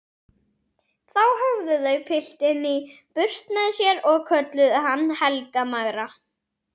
Þá höfðu þau piltinn í burt með sér og kölluðu hann Helga magra.